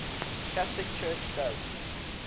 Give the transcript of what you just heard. catholic church does